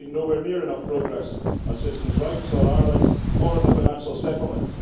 We have seen nowhere near enough progress on citizens' rights, on Ireland or in the financial settlement.